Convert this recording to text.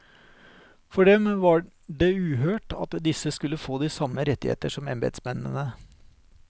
For dem var de uhørt at disse skulle få de samme rettigheter som embetsmennene.